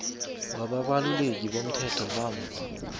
wabaluleki bomthetho bamva